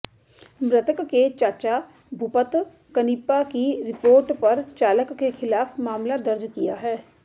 मृतक के चाचा भूपत कनिपा की रिपोर्ट पर चालक के खिलाफ मामला दर्ज किया है